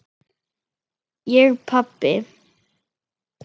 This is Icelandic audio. Ég pabbi!